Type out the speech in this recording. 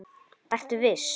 Gunnar Atli: Ertu viss?